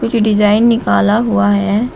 जो डिजाइन निकाला हुआ है।